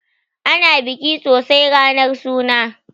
Ana biki sosai ranar suna